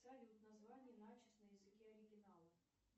салют название начес на языке оригинала